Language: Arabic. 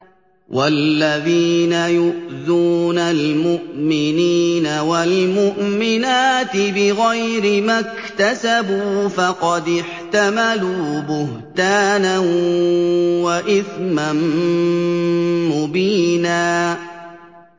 وَالَّذِينَ يُؤْذُونَ الْمُؤْمِنِينَ وَالْمُؤْمِنَاتِ بِغَيْرِ مَا اكْتَسَبُوا فَقَدِ احْتَمَلُوا بُهْتَانًا وَإِثْمًا مُّبِينًا